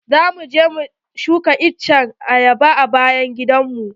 Za mu je mu shuka itacen ayaba a bayan gidan mu.